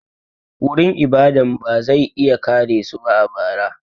Wurin ibadan ba zai iya kare su a bara.